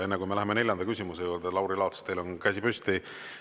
Enne kui me läheme neljanda küsimuse juurde, Lauri Laats, teil on käsi püsti.